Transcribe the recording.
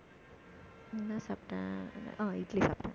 என்ன சாப்பிட்டேன் ஆஹ் இட்லி சாப்பிட்டேன்